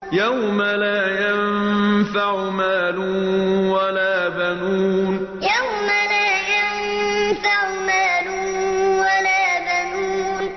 يَوْمَ لَا يَنفَعُ مَالٌ وَلَا بَنُونَ يَوْمَ لَا يَنفَعُ مَالٌ وَلَا بَنُونَ